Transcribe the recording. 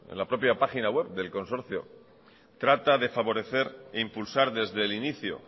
la propia página web del consorcio de favorecer e impulsar desde el inicio